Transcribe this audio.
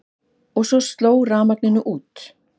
Og svo sló rafmagninu út.